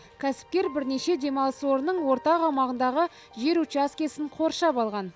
кәсіпкер бірнеше демалыс орнының ортақ аумағындағы жер учаскесін қоршап алған